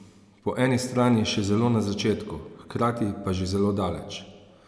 Po eni strani še zelo na začetku, hkrati pa že zelo daleč.